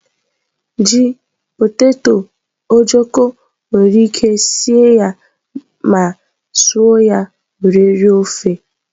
Ji, poteto, ojokọ́ nwere ike sie ya ma suọ ya were rie ofe.